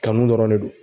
Kanu dɔrɔn de don